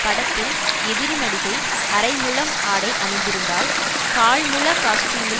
படத்தில் எதிரி நடிகை அரைமுழம் ஆடை அணிந்திருந்தால் கால் முழ காஸ்ட்யூமில்